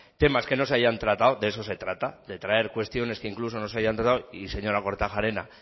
temas que no se hayan tratado de eso se trata de traer cuestiones que incluso no se hayan tratado y señora kortajarena